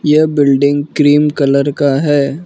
यह building cream colour का है।